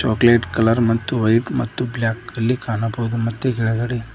chocolate colour ಮತ್ತು white ಮತ್ತು black ಅಲ್ಲಿ ಕಾಣಬವುದು ಮತ್ತೆ ಕೆಳಗಡೆ--